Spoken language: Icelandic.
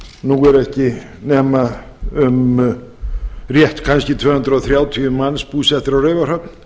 nú eru ekki nema um rétt kannski tvö hundruð þrjátíu manns búsettir á raufarhöfn